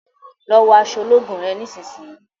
lọ wọ aṣọ ológun rẹ nísìsiyìí!